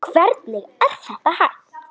Hvernig er þetta hægt?